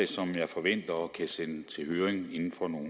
som jeg forventer at kunne sende til høring inden for nogle